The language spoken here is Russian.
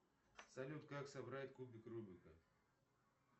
салют как собрать кубик рубика